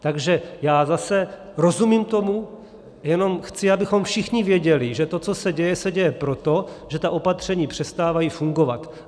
Takže já zase rozumím tomu, jenom chci, abychom všichni věděli, že to, co se děje, se děje proto, že ta opatření přestávají fungovat.